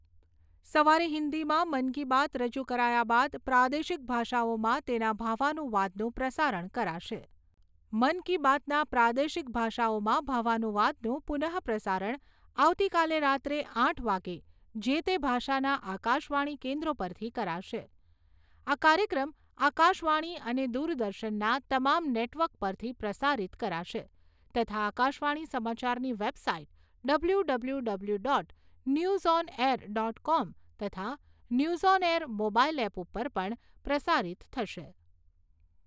સવારે હિન્દીમાં મન કી બાત રજૂ કરાયા બાદ પ્રાદેશિક ભાષાઓમાં તેના ભાવાનુવાદનું પ્રસારણ કરાશે. મન કી બાતના પ્રાદેશિક ભાષાઓમાં ભાવાનુવાદનું પુનઃપ્રસારણ આવતીકાલે રાત્રે આઠ વાગે જે તે ભાષાના આકાશવાણીના કેન્દ્રો પરથી કરાશે. આ કાર્યક્રમ આકાશવાણી અને દૂરદર્શનના તમામ નેટવર્ક પરથી પ્રસારિત કરાશે તથા આકાશવાણી સમાચારની website W W W dot news on air dot com તથા news on air mobile app ઉપર પણ પ્રસારિત થશે.